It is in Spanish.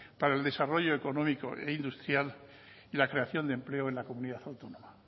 para el desarrollo económico e industrial y la creación de empleo en la comunidad autónoma